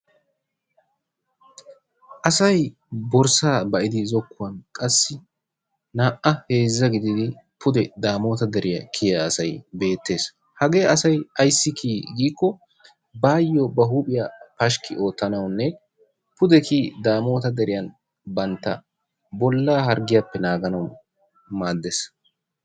Asay borssaa ba'idi zokkuwan qassi na'a heezza gididi pude daamota deriya kyiya asay beettees. Hagee asay ayssi kiyii giikko baayoo ba huuphphiya pashiki oottanawunne pude kiyi daamotta deriyan bantta bollaa harggiyappe naaganawu maaddees.